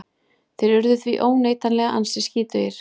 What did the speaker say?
Þeir urðu því óneitanlega ansi skítugir.